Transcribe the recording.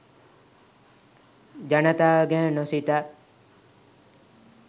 ජනතාව ගැන නොසිතා